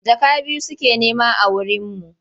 Jaka biyu suke nema a wurinmu.